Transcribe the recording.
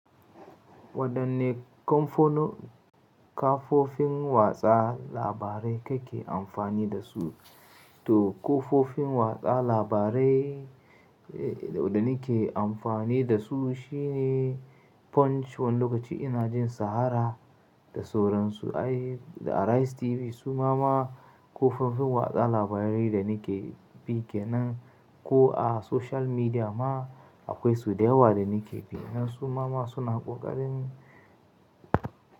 Waɗanne kafofin watsa labarai kake amfani da su? To kafofin watsa labarai da nake amfani dasu shine Punch wani lokaci ina jin Sahara da sauransu Arise TV. Suma ma kafofin watsa labarai da nake bi. Kenan ko a social media ma akwai su da yawa da nake bi. Nan suma ma suna ƙoƙarin.